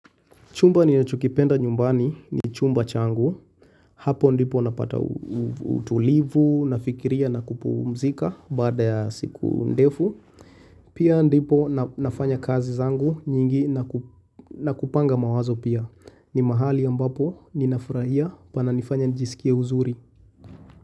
Chumba ni nachukipenda nyumbani ni chumba changu, hapo ndipo napata utulivu, nafikiria na kupumzika bada ya siku ndefu, pia ndipo nafanya kazi zangu nyingi na kupanga mawazo pia, ni mahali ambapo ninafuraia pana nifanya nijisikia uzuri.